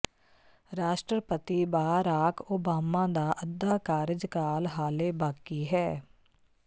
ਰਾਸ਼ਟਰਪਤੀ Barack Obama ਦਾ ਅੱਧਾ ਕਾਰਜਕਾਲ ਹਾਲੇ ਬਾਕੀ ਹੈ